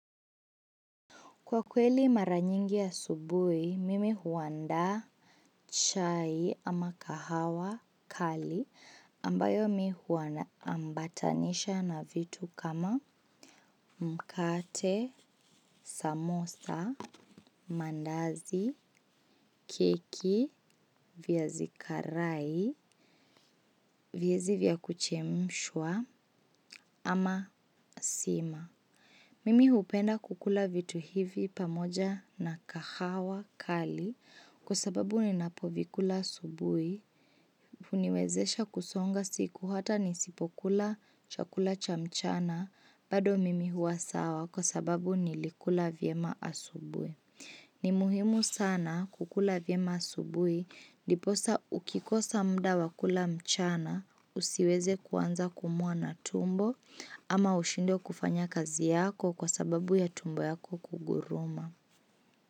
Kwa kweli mara nyingi asubuhi, mimi huandaa chai ama kahawa kali ambayo mi huandaa ambatanisha na vitu kama mkate, samosa, mandazi, keki, viazi karai viazi vya kuchemshwa ama sima. Mimi hupenda kukula vitu hivi pamoja na kahawa kali kwa sababu ninapovikula asubuhi, huniwezesha kusonga siku hata nisipokula chakula cha mchana, bado mimi huwa sawa kwa sababu nilikula vyema asubuhi. Ni muhimu sana kukula vya masubui ndiposa ukikosa muda wa kula mchana usiweze kuanza kuumwa na tumbo ama ushindwe kufanya kazi yako kwa sababu ya tumbo yako kuguruma.